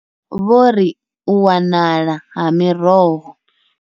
Vho ri, U wanala ha miroho.